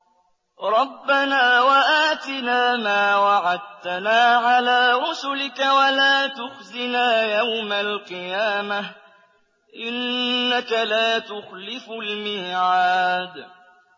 رَبَّنَا وَآتِنَا مَا وَعَدتَّنَا عَلَىٰ رُسُلِكَ وَلَا تُخْزِنَا يَوْمَ الْقِيَامَةِ ۗ إِنَّكَ لَا تُخْلِفُ الْمِيعَادَ